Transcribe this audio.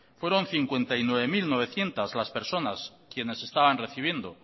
fueron cincuenta y nueve mil novecientos las personas quienes estaban recibiendo